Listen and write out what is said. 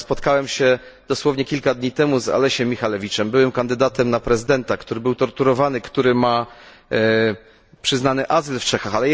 Ja spotkałem się dosłownie kilka dni temu z Aleksiejem Michalewiczem, byłym kandydatem na prezydenta, który był torturowany, który otrzymał azyl w Czechach.